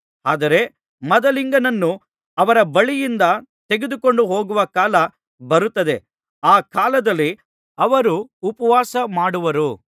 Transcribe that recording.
ಆದರೆ ಮದಲಿಂಗನನ್ನು ಅವರ ಬಳಿಯಿಂದ ತೆಗೆದುಕೊಂಡು ಹೋಗುವ ಕಾಲ ಬರುತ್ತದೆ ಆ ಕಾಲದಲ್ಲಿ ಅವರು ಉಪವಾಸ ಮಾಡುವರು